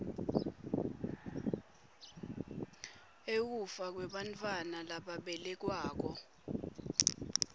ekufa kwebantfwana lababelekwako